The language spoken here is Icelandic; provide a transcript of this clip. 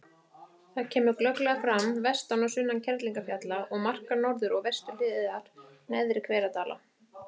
Það kemur glögglega fram vestan og sunnan Kerlingarfjalla og markar norður- og vesturhliðar Neðri-Hveradala.